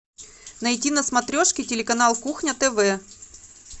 найти на смотрешке телеканал кухня тв